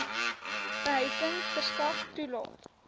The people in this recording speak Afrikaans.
behuising verskaf toelaes